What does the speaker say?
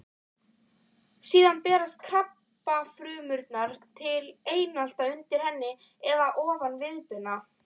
Síðan berast krabbafrumurnar til eitla undir hendi eða ofan viðbeina.